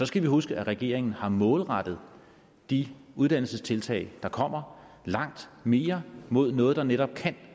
skal huske at regeringen har målrettet de uddannelsestiltag der kommer langt mere mod noget der netop kan